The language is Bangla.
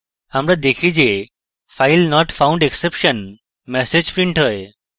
আমরা দেখি যে filenotfoundexception ম্যাসেজ printed হয়